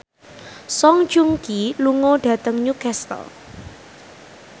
Song Joong Ki lunga dhateng Newcastle